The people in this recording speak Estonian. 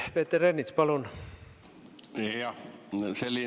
Peeter Ernits, palun!